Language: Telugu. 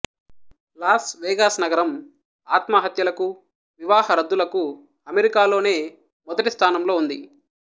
లాస్ వెగాస్ నగరం ఆత్మహత్యలకు వివాహ రద్దులకు అమెరికాలోనే మొదటి స్థానంలో ఉంది